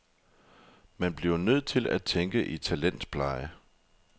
Man bliver nødt til at tænke i talentpleje.